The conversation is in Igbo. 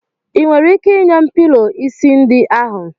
Ị nwere ike nye m pilọ isi ndị ahu?